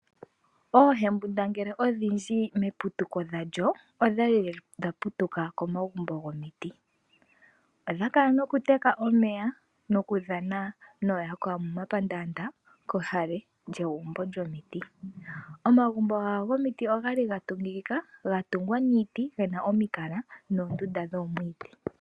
Ohembundangele odhindji meputu dhandjo odhali dhapu tuka komagumbo gomiti odha kala noku teka omeya noku dhana no yakwawo momapandanda kehale lyegumbo lyo miti omagumbo ogo miti ogali gatungikika gatungwa niiti gena omikala noondunda dhomwiidhi.